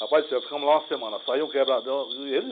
Rapaz do céu, ficamos lá uma semana, saiu um quebradão e ele